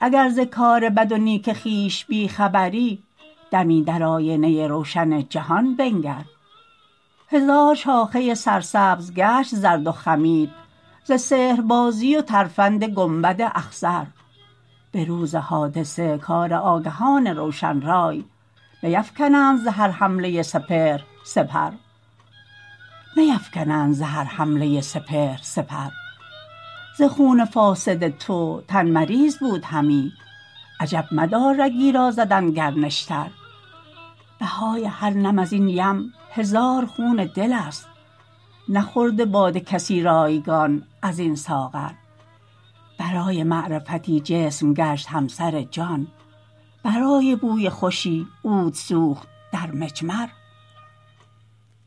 اگر ز کار بد نیک خویش بی خبری دمی در آینه روشن جهان بنگر هزار شاخه سرسبز گشت زرد و خمید ز سحربازی و ترفند گنبد اخضر به روز حادثه کار آگهان روشن رای نیفکنند ز هر حمله سپهر سپر ز خون فاسد تو تن مریض بود همی عجب مدار رگی را زدند گر نشتر بهای هر نم ازین یم هزار خون دل است نخورده باده کسی رایگان ازین ساغر برای معرفتی جسم گشت همسر جان برای بوی خوشی عود سوخت در مجمر